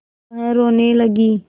वह रोने लगी